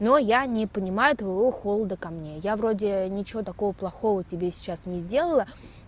но я не понимаю твоего холода ко мне я вроде ничего такого плохого тебе сейчас не сделала